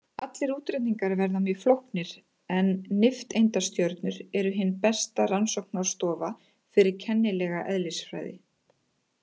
Allir útreikningar verða mjög flóknir en nifteindastjörnur eru hin besta rannsóknarstofa fyrir kennilega eðlisfræði.